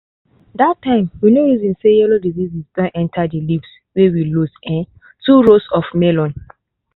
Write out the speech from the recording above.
that time we no reason say yellow diseases don enter di leaves wey we lose um two rows of melon.